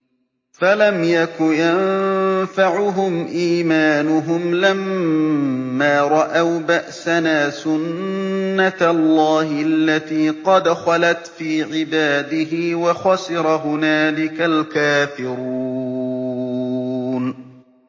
فَلَمْ يَكُ يَنفَعُهُمْ إِيمَانُهُمْ لَمَّا رَأَوْا بَأْسَنَا ۖ سُنَّتَ اللَّهِ الَّتِي قَدْ خَلَتْ فِي عِبَادِهِ ۖ وَخَسِرَ هُنَالِكَ الْكَافِرُونَ